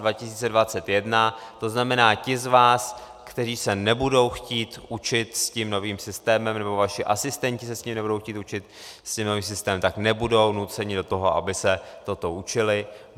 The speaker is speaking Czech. To znamená ti z vás, kteří se nebudou chtít učit s tím novým systémem, nebo vaši asistenti se s ním nebudou chtít učit, s tím novým systémem, tak nebudou nuceni do toho, aby se toto učili.